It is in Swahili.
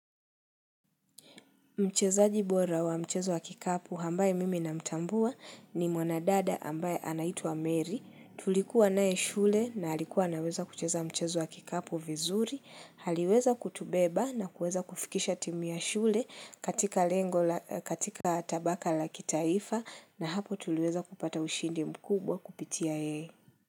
Mchezaji bora wa mchezo wa kikapu ambaye mimi namtambua ni mwanadada ambaye anaitwa Mary. Tulikuwa naye shule na alikuwa anaweza kucheza mchezo wa kikapu vizuri. Aliweza kutubeba na kueza kufikisha timu ya shule katika lengo la katika tabaka la kitaifa na hapo tuliweza kupata ushindi mkubwa kupitia yeye.